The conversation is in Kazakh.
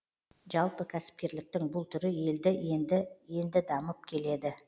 жалпы кәсіпкерліктің бұл түрі елде енді енді дамып келеді